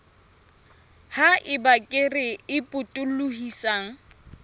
ha eba kere e potolohisang